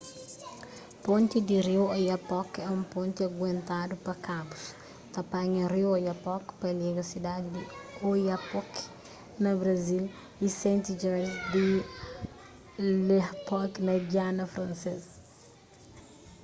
ponti di riu oyapock é un ponti guentadu pa kabus ta panha riu oyapock pa liga sidadi di oiapoque na brazil y saint-georges di l'oyapock na giana fransês